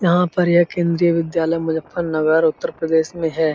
यहाँ पर ये केंद्रीय विद्यालय मुज़फरनगर उत्तर प्रदेश में है।